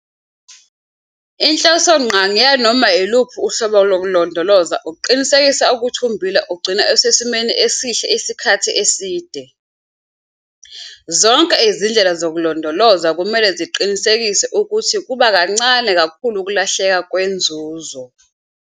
Inhlosongqangi yanoma uluphi uhlobo lokulondoloza ukuqinisekisa ukuthi ummbila ugcinwa usesimeni esihle isikhathi eside. Zonke izindlela zokulondoloza kumele ziqinisekise ukuthi kuba kuncane kakhulu ukulahleka kwenzuzo.